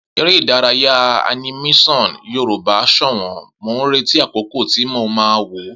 Eré Ìdárayá animésàn yoruba ṣọ̀wọ̀n, mo ń retí akọkọ ti mo ma wò